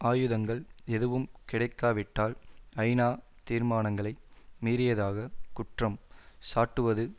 ஆயுதங்கள் எதுவும் கிடைக்காவிட்டால் ஐநா தீர்மானங்களை மீறியதாக குற்றம் சாட்டுவது